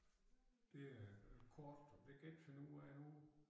Det er øh kort det kan jeg ikke finde ud af nu